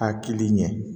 Hakili ɲɛ